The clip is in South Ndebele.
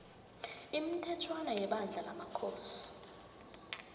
imithetjhwana yebandla lamakhosi